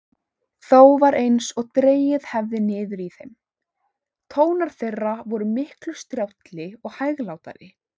Þó var einsog dregið hefði niður í þeim: tónar þeirra vor miklu strjálli og hæglátari.